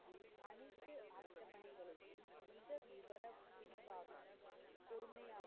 பிரிவாகவும் பொறுமையா,